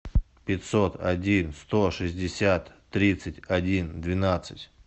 пятьсот один сто шестьдесят тридцать один двенадцать